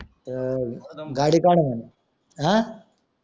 अह गाडी काढा म्हणे अं